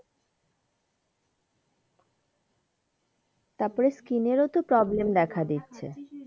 তারপর skin এর তো problem দেখা দিচ্ছে জল তা খাচ্ছি সেই জল তাও যে,